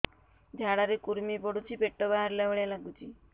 ଝାଡା ରେ କୁର୍ମି ପଡୁଛି ପେଟ ବାହାରିଲା ଭଳିଆ ଲାଗୁଚି